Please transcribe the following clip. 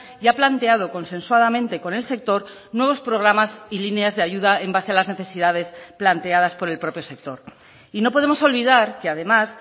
y ha planteado consensuadamente con el sector nuevos programas y líneas de ayuda en base a las necesidades planteadas por el propio sector y no podemos olvidar que además